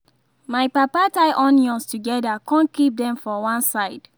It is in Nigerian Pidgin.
my papa tie onions together con keep them for one side